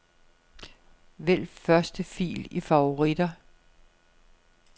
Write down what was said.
Vælg første fil i favoritter.